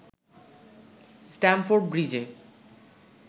Stamford ব্রিজে